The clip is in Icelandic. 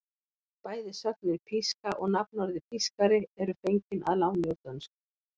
Bæði sögnin píska og nafnorðið pískari eru fengin að láni úr dönsku.